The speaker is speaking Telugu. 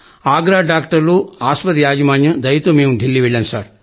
ఆగ్రా డాక్టర్లు ఆస్పత్రి యాజమాన్యం దయతో మేం ఢిల్లీ వెళ్లాం